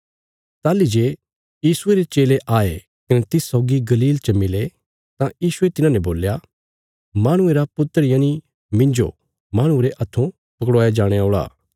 ताहली जे यीशुये रे चेले आये कने तिस सौगी गलील च मिले तां यीशुये तिन्हांने बोल्या माहणुये रा पुत्र यनि मिन्जो माहणुआं रे हत्थों पकड़वाया जाणे औल़ा